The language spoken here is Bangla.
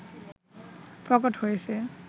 প্রকট হয়েছে